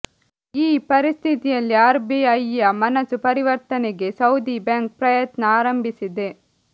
ಈ ಪರಿಸ್ಥಿತಿಯಲ್ಲಿ ಆರ್ಬಿಐಯ ಮನಸು ಪರಿವರ್ತನೆಗೆ ಸೌದಿ ಬ್ಯಾಂಕ್ ಪ್ರಯತ್ನ ಆರಂಭಿಸಿದೆ